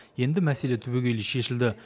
енді мәселе түбегейлі шешілді